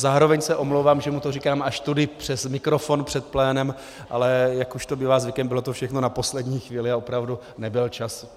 Zároveň se omlouvám, že mu to říkám až tady přes mikrofon před plénem, ale jak už to bývá zvykem, bylo to všechno na poslední chvíli a opravdu nebyl čas.